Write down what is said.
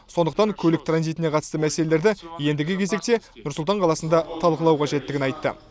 сондықтан көлік транзитіне қатысты мәселелерді ендігі кезекте нұр сұлтан қаласында талқылау қажеттігін айтты